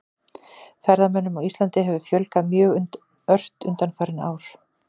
Ferðamönnum á Íslandi hefur fjölgað mjög ört undanfarin ár.